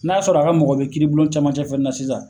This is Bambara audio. N'a sɔrɔ a ka mɔgɔ be kiiri bulon camancɛ fɛnɛ na sisan